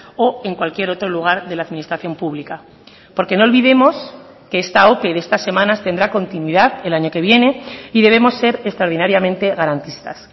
o en cualquier otro lugar de la administración pública porque no olvidemos que esta ope de estas semanas tendrá continuidad el año que viene y debemos ser extraordinariamente garantistas